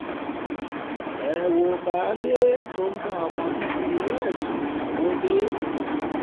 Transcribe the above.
ẹ wo baálé tó ń bá ọmọ bíbí inú ẹ̀ sùn lọ́wọ́de